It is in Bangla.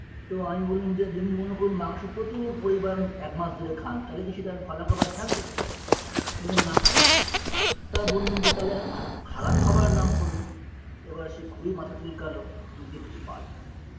তো আমি বললাম যে যদি মনে করুন মাংস প্রচুর পরিমাণ একমাস ধরে খান তালে কী সেটা আর ভালো খাবার থাকবে বললেন না তা বললুম যে তালে একটা খাব খারাপ খাবারের নাম করুন এবার সে খুবই মাথা চুলকালো চুলকে কিছু পারলোনা